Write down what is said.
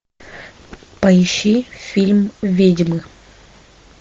поищи фильм ведьмы